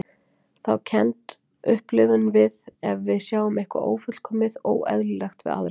Þá kennd upplifum við ef við sjáum eitthvað ófullkomið, óeðlilegt, við aðra.